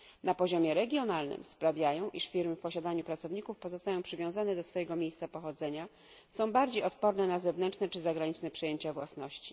Na poziomie regionalnym sprawiają, iż firmy w posiadaniu pracowników pozostają przywiązane do swojego miejsca pochodzenia, są bardziej odporne na zewnętrzne czy zagraniczne przejęcia własności.